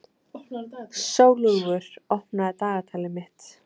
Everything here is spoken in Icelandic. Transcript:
Sólúlfur, opnaðu dagatalið mitt.